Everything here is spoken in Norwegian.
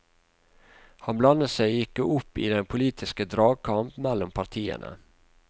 Han blandet seg ikke opp i den politiske dragkamp mellom partiene.